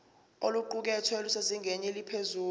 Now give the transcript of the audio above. oluqukethwe lusezingeni eliphezulu